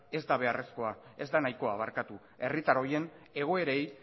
ez da nahikoa herritar horien egoerei